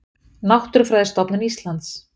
Náttúrufræðistofnun Íslands.